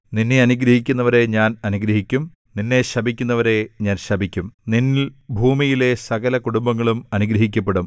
നിന്നെ അനുഗ്രഹിക്കുന്നവരെ ഞാൻ അനുഗ്രഹിക്കും നിന്നെ ശപിക്കുന്നവരെ ഞാൻ ശപിക്കും നിന്നിൽ ഭൂമിയിലെ സകല കുടുംബങ്ങളും അനുഗ്രഹിക്കപ്പെടും